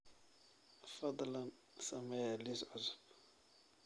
fadlan samee liis cusub